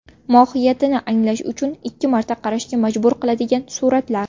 Mohiyatini anglash uchun ikki marta qarashga majbur qiladigan suratlar .